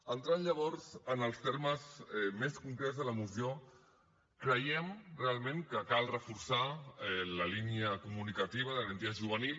entrant llavors en els termes més concrets de la moció creiem realment que cal reforçar la línia comunicativa de garantia juvenil